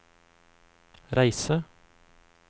reise